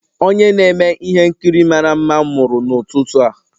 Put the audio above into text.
Onye na-eme ihe nkiri mara mma mụrụ n'ụtụtụ a